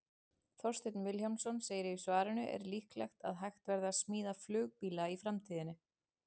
Þorsteinn Vilhjálmsson segir í svarinu Er líklegt að hægt verði að smíða flugbíla í framtíðinni?